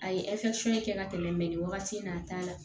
A ye kɛ ka tɛmɛ nin wagati in na a t'a la